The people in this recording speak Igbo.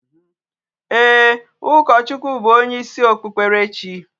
Eeh, ukochukwuw bu onye isi okpukperechi